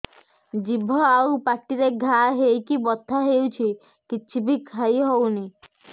ଜିଭ ଆଉ ପାଟିରେ ଘା ହେଇକି ବଥା ହେଉଛି କିଛି ବି ଖାଇହଉନି